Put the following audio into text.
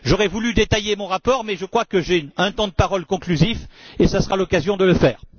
J'aurais voulu détailler mon rapport, mais je crois que j'ai un temps de parole conclusif, et ce sera l'occasion de le faire.